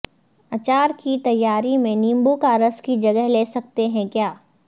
اچار کی تیاری میں نیبو کا رس کی جگہ لے سکتے ہیں کیا